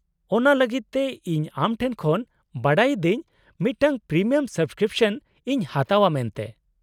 -ᱚᱱᱟ ᱞᱟᱹᱜᱤᱫ ᱛᱮ ᱤᱧ ᱟᱢ ᱴᱷᱮᱱ ᱠᱷᱚᱱ ᱵᱟᱰᱟᱭ ᱤᱫᱟᱹᱧ ᱢᱤᱫᱴᱟᱝ ᱯᱨᱤᱢᱤᱭᱟᱢ ᱥᱟᱵᱠᱨᱤᱯᱥᱚᱱ ᱤᱧ ᱦᱟᱛᱟᱣᱼᱟ ᱢᱮᱱᱛᱮ ᱾